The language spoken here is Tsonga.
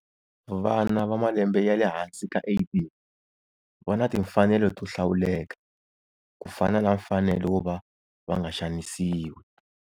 Vana va malembe ya le hansi ka 18 va na timfanelo to hlawuleka, ku fana na mfanelo wova va nga xanisiwi.